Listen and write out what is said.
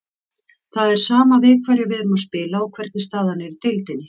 Það er sama við hverja við erum að spila og hvernig staðan er í deildinni.